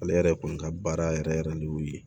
Ale yɛrɛ kɔni ka baara yɛrɛ yɛrɛ de y'o ye